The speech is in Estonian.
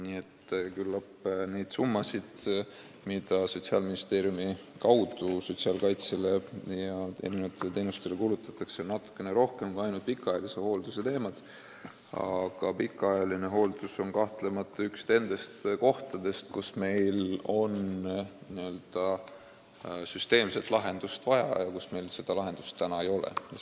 Nii et küllap neid summasid, mida Sotsiaalministeeriumi kaudu sotsiaalkaitsele ja erinevatele teenustele kulutatakse, on natukene rohkem kui ainult pikaajalise hoolduse teemadele minevad summad, aga pikaajaline hooldus on kahtlemata üks nendest kohtadest, kus meil on vaja n-ö süsteemset lahendust ja kus meil seda lahendust ei ole.